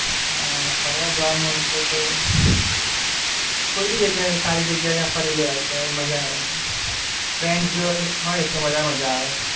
ફરવા જવાનું હોય તો તો, કોઈ બી જગ્યાએ, સારી જગ્યાએ ફરી લેવું મજા આવે, ફ્રેન્ડ્સ જોડે હોય તો વધારે મજા આવે.